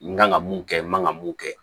N kan ka mun kɛ n man ka mun kɛ